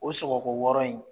O sɔgɔko wɔɔrɔ in.